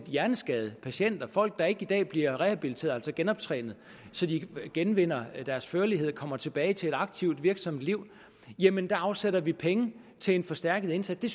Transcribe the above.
hjerneskadede patienter folk der i dag ikke bliver rehabiliteret altså genoptrænet så de genvinder deres førlighed og kommer tilbage til et aktivt virksomt liv jamen der afsætter vi penge til en forstærket indsats det